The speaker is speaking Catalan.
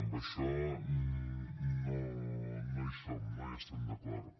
amb això no hi som no hi estem d’acord